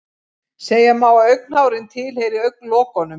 Segja má að augnhárin tilheyri augnlokunum.